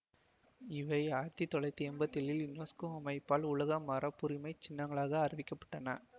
இவை ஆயிரத்தி தொள்ளாயிரத்தி எம்பத்தி ஏழில் யுனெஸ்கோ அமைப்பால் உலக மரபுரிமை சின்னங்களாக அறிவிக்க பட்டன